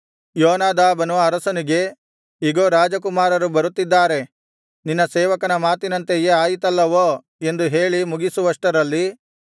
ಯೋನಾದಾಬನು ಅರಸನಿಗೆ ಇಗೋ ರಾಜಕುಮಾರರು ಬರುತ್ತಿದ್ದಾರೆ ನಿನ್ನ ಸೇವಕನ ಮಾತಿನಂತೆಯೆ ಆಯಿತಲ್ಲವೋ ಎಂದು ಹೇಳಿ ಮುಗಿಸುವಷ್ಟರಲ್ಲಿ